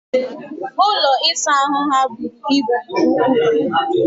Ụlọ ịsa ahụ ha bụrụ ibu nke ukwu